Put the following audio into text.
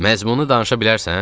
Məzmunu danışa bilərsən?